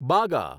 બાગા